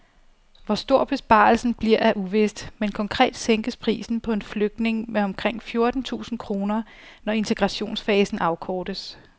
Hvor stor besparelsen bliver er uvist, men konkret sænkes prisen på en flygtning med omkring fjorten tusind kroner, når integrationsfasen afkortes.